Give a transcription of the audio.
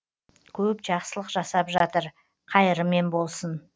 көп жақсылық жасап жатыр қайырымен болсын